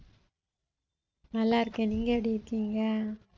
நல்லா இருக்கேன் நீங்க எப்படி இருக்கீங்க